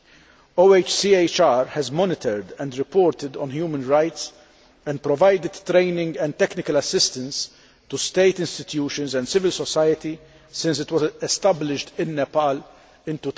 The OHCHR has monitored and reported on human rights and provided training and technical assistance to state institutions and civil society since it was established in Nepal in